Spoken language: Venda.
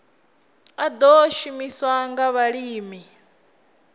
a ḓo shumiswa nga vhalimi